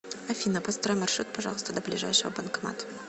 афина построй маршрут пожалуйста до ближайшего банкомата